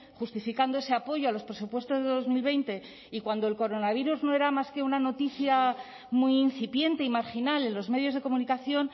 justificando ese apoyo a los presupuestos de dos mil veinte y cuando el coronavirus no era más que una noticia muy incipiente y marginal en los medios de comunicación